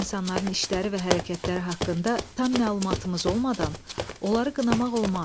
Başqa insanların işləri və hərəkətləri haqqında tam məlumatımız olmadan, onları qınamaq olmaz.